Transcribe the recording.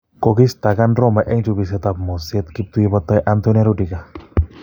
Kokistakan Roma en chubisiet ab 'moset' kiptui botoi Antonio Rudiger